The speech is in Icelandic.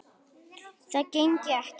Það gengi ekki